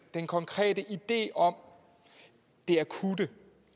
konkrete idé om det akutte